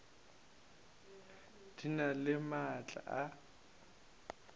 di na le maatla a